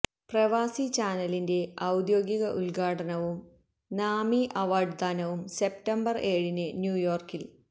പ്രവാസി ചാനലിന്റെ ഔദ്യോഗിക ഉദ്ഘാടനവും നാമി അവാർഡ് ദാനവും സെപ്റ്റംബർ ഏഴിന് ന്യൂയോർക്കിൽ